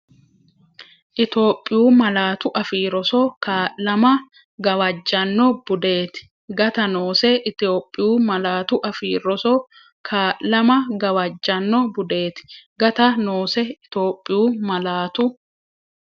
Itophiyu Malaatu Afii Roso Kaa’lama gawajjanno budeeti; gata noose Itophiyu Malaatu Afii Roso Kaa’lama gawajjanno budeeti; gata noose Itophiyu Malaatu.